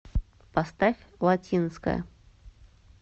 поставь латинская